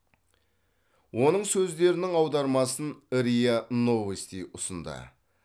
оның сөздерінің аудармасын риа новости ұсынды